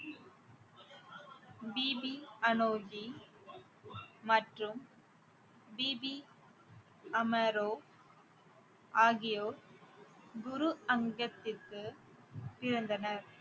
BP Anokhi மற்றும் பிபி அமரோ ஆகியோர் குரு அங்கத்திற்க்கு பிறந்தனர்